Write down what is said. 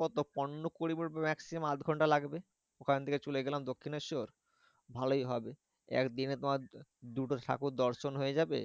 কত পনেরো কুড়ি মিনিট maximum আধ ঘন্টা লাগবে। ওখান থেকে চলে গেলাম দক্ষিনেশ্বর। ভালোই হবে একদিনে তোমার দুটো ঠাকুর দর্শন হয়ে যাবে।